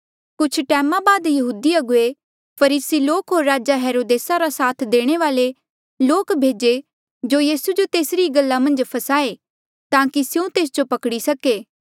कुछ टैमा बाद यहूदी अगुवे फरीसी लोक होर राजा हेरोदेसा रा साथ देणे वाल्ऐ लोक भेजे जो यीसू जो तेसरी ई गल्ला मन्झ फसाए ताकि स्यों तेस जो पकड़ी सके